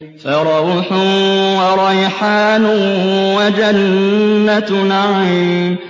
فَرَوْحٌ وَرَيْحَانٌ وَجَنَّتُ نَعِيمٍ